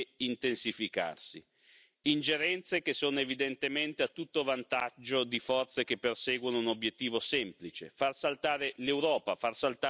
Ingerenze che sono evidentemente a tutto vantaggio di forze che perseguono un obiettivo semplice far saltare l'Europa, far saltare la nostra casa comune.